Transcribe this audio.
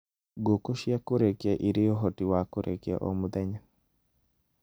Ngũkũ cia kũrekia irĩ ũhoti wa kũrekia o mũthenya.